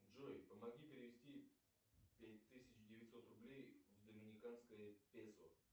джой помоги перевести пять тысяч девятьсот рублей в доминиканское песо